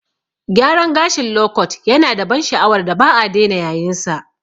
Gyaran gashin lokot yanada ban sha'awar da ba'a dena yayinsa.